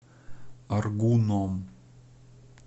аргуном